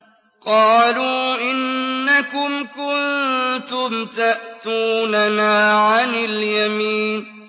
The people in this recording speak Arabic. قَالُوا إِنَّكُمْ كُنتُمْ تَأْتُونَنَا عَنِ الْيَمِينِ